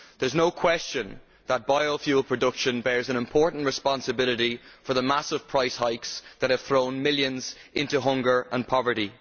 There is no question that biofuel production bears an important responsibility for the massive price hikes which have thrown millions into hunger and poverty.